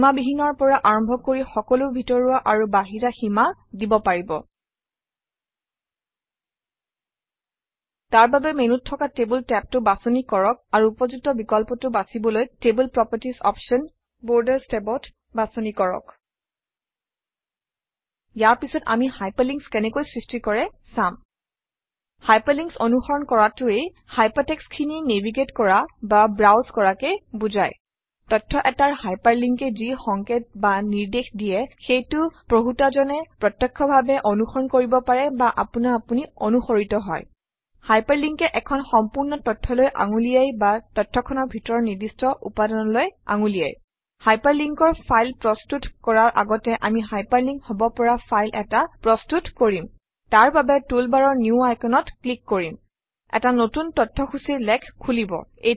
সীমাবিহীনৰ পৰা আৰম্ভ কৰি সকলো ভিতৰুৱা আৰু বাহিৰা সীমা দিব পাৰিব তাৰ বাবে মেনুত থকা টেবল টেবটো বাছনি কৰক আৰু উপযুক্ত বিকল্পটো বাছিবলৈ টেবল প্ৰপাৰ্টিজ অপশ্যন বৰ্ডাৰ্ছ টেবত বাছনি কৰক ইয়াৰ পাছত আমি হাইপাৰলিংকছ কেনেকৈ সৃষ্টি কৰে চাম হাইপাৰলিংকছ অনুসৰণ কৰাটোৱে hypertext খিনি নেভিগেট কৰা বা ব্ৰাউজ কৰাকে বুজায় তথ্য এটাৰ hyperlink এ যি সংকেত বা নিৰ্দেশ দিয়ে সেইটো পঢ়োঁতাজনে প্ৰত্যক্ষভাবে অনুসৰণ কৰিব পাৰে বা আপোনা আপুনি অনুসৰিত হয় Hyperlink এ এখন সম্পূৰ্ণ তথ্যলৈ আঙুলিয়ায় বা তথ্যখনৰ ভিতৰৰ নিৰ্দিষ্ট উপাদানলৈ আঙুলিয়ায় Hyperlink অৰ ফাইল প্ৰস্তুত কৰাৰ আগতে আমি হাইপাৰলিংক হব পৰা ফাইল এটা প্ৰস্তুত কৰিম তাৰবাবে টুলবাৰৰ নিউ Icon অত ক্লিক কৰিম এটা নতুন তথ্যসূচীৰ লেখ খুলিব